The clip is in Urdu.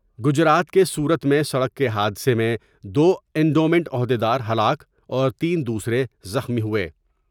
گجرات کے سورت میں سڑک کے حادثہ میں دو انڈومنٹ عہد یدار ہلاک اور تین دوسرے زخمی ہوئے ۔